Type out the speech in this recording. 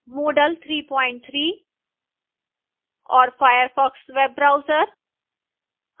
moodle 33 और firefox web browser